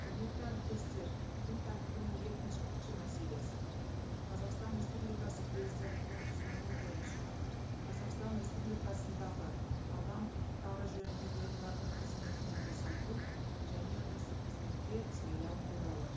құрметті әріптестер күн тәртібінің мәселесі қазақстан республикасы президентінің ұсынуы бойынша қазақстан республикасындағы адам құқықтары жөніндегі уәкіл қыметінен босату және осы қызметке сайлау туралы